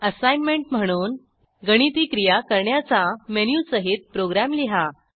assignment म्हणून गणिती क्रिया करण्याचा मेनूसहित प्रोग्रॅम लिहा